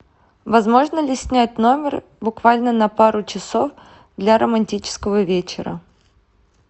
возможно ли снять номер буквально на пару часов для романтического вечера